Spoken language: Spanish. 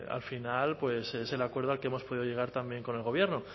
al final es el acuerdo al que hemos podido llegar también con el gobierno